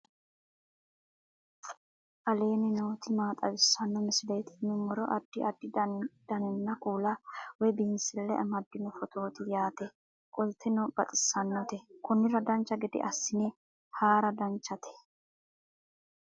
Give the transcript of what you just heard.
aleenni nooti maa xawisanno misileeti yinummoro addi addi dananna kuula woy biinsille amaddino footooti yaate qoltenno baxissannote konnira dancha gede assine haara danchate